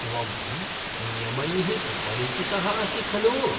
त्वं नियमैः सुपरिचितः असि खलु?